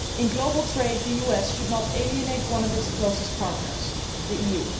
In global trade the US should not alienate one of its closest partners, the EU.